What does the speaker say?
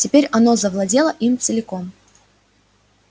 теперь оно завладело им целиком